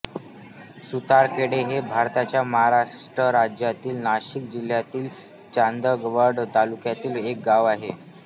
सुतारखेडे हे भारताच्या महाराष्ट्र राज्यातील नाशिक जिल्ह्यातील चांदवड तालुक्यातील एक गाव आहे